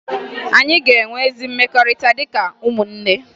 Anyị ga-enwe ezi mmekọrịta dịka ụmụnne